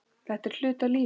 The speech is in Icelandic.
Þetta er hluti af lífinu.